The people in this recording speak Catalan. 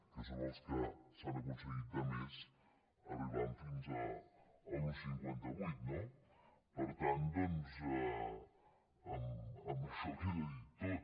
que són els que s’han aconseguit de més arribant fins a l’un coma cinquanta vuit no per tant doncs amb això queda dit tot